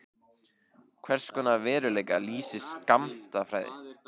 Hvers konar veruleika lýsir skammtafræði?